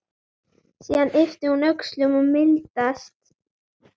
Síðan ypptir hún öxlum og mildast.